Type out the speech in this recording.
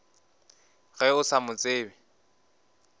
ge o sa mo tsebe